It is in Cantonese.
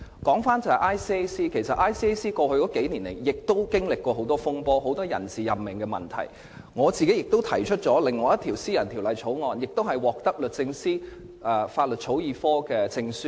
我想指出 ，ICAC 在過去數年亦曾經歷很多風波，有很多人事任命問題，我個人亦提出了另一項私人條例草案並獲得律政司法律草擬科的證書。